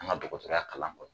An ka dɔgɔtɔrɔya kalan kɔnɔ.